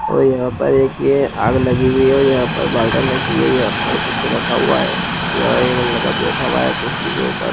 और यहाँ पर एक ये आग लगी हुई है और यहाँ पर बॉटल रखी है यहाँ पर कुछ रखा हुआ है यहाँ एक लड़का बैठा हुआ है कुर्सी के ऊपर।